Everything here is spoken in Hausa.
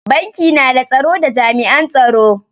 Banki na da tsaro da jami'an tsaro.